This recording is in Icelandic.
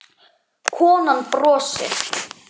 Taktu til í skáp.